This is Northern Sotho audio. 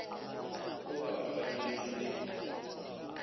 o be a gateletšwe ke